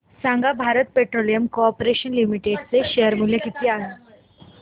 सांगा Bharat petroleum corporation limited चे share मूल्य किती आहे